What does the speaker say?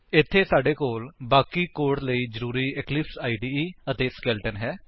ਇੱਥੇ ਸਾਡੇ ਕੋਲ ਬਾਕੀ ਕੋਡ ਲਈ ਜ਼ਰੂਰੀ ਇਕਲਿਪਸ ਇਦੇ ਅਤੇ ਸਕੇਲੇਟਨ ਹੈ